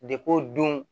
o don